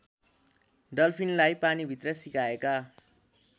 डल्फिनलाई पानीभित्र सिकाएका